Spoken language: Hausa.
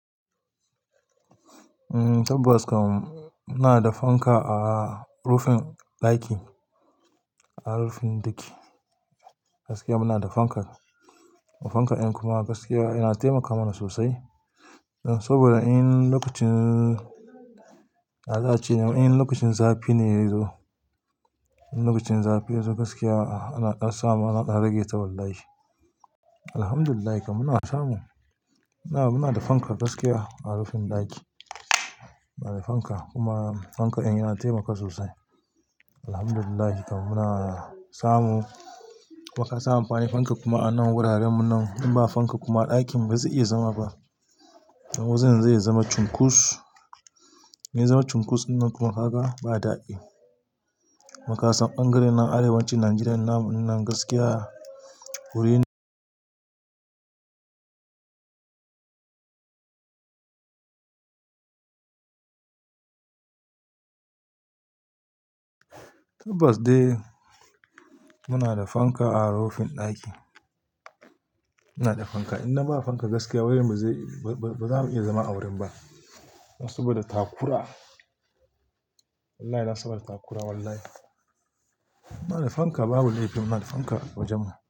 Tabbas kam muna da fanka a rufin ɗaki. A rufin ɗaki gaskiya muna da fanka. Fanka ɗin kuma gaskiya yana taimaka mana sosai. Saboda in lokacin, na dace in lokacin zafi ne ya zo, in lokacin zafi ya zo gaskiya ana iya samun, ana rage ta wallahi Alhamdulillah kam muna samu. Muna, muna da fanka gaskiya a rufin ɗaki. Muna da fanka kuma fanka ɗin yana taimaka sosai. Alhamdulillah kam muna samu. Muka samu amfani fanka kuma a nan wuraren mu nan. In ba fanka kuma ɗakin ba zai iya zama ba. Wajen zai iya zama cunkus, zai zama cunkus nan kuma haka ba daɗi. Makasan bangaren arewacin Najeriya nan gaskiya wurin Tabbas dai muna da fanka a rufin ɗaki. Muna da fanka. In ba fanka gaskiya wurin mu ba za mu iya zama a wurin ba. Saboda takura. Wallahi nasa ba da takura wallahi. Muna da fanka babu laifi muna da fanka wajen mu.